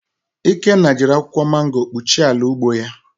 Ikenna jiri akwụkwọ mango kpuchie ala ugbo ya